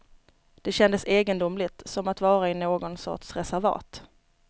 Det kändes egendomligt, som att vara i någon sorts reservat.